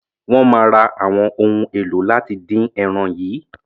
Wọ́n máa ra àwọn ohun èlò láti dín ẹran yìí.